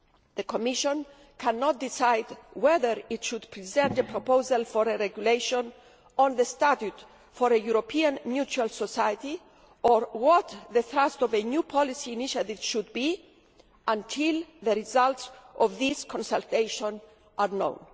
The Commission cannot decide whether it should present a proposal for a regulation on the statute for a European mutual society or what the thrust of a new policy initiative should be until the results of these consultations are known.